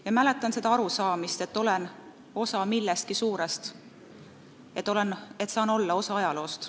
Ja mäletan seda arusaamist, et olen osa millestki suurest, saan olla osa ajaloost.